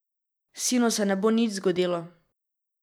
Sinu se ne bo nič zgodilo.